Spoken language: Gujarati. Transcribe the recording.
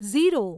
ઝીરો